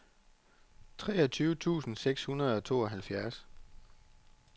treogtyve tusind seks hundrede og tooghalvfjerds